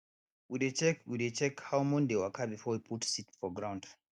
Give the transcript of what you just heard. we dey check we dey check how moon dey waka before we put seed for ground